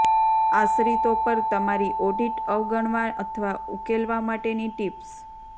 આશ્રિતો પર તમારી ઑડિટ અવગણવા અથવા ઉકેલવા માટેની ટિપ્સ